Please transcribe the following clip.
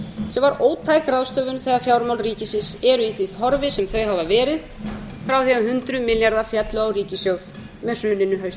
sem var ótæk ráðstöfun þegar fjármál ríkisins eru í því horfi sem þau hafa verið frá því að hundruð milljarðar féllu á ríkissjóð með hruninu haustið tvö þúsund